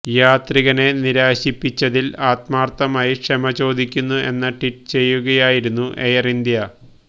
യാത്രികനെ നിരാശിപ്പിച്ചതില് ആത്മാര്ത്ഥമായി ക്ഷമ ചോദിക്കുന്നു എന്ന് ട്വീറ്റ് ചെയ്യുകയായിരുന്നു എയര് ഇന്ത്യ